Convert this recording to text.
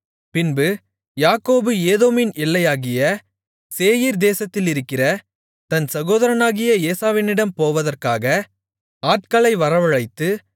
பின்பு யாக்கோபு ஏதோமின் எல்லையாகிய சேயீர் தேசத்திலிருக்கிற தன் சகோதரனாகிய ஏசாவினிடம் போவதற்காக ஆட்களை வரவழைத்து